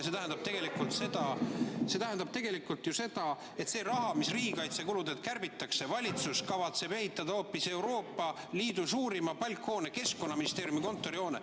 See tähendab tegelikult ju seda, et selle raha eest, mis riigikaitsekuludelt kärbitakse, kavatseb valitsus ehitada hoopis Euroopa Liidu suurima palkhoone, Keskkonnaministeeriumi kontorihoone.